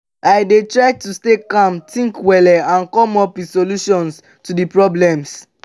i dey try to stay calm think wella and come up with solutions to di problems.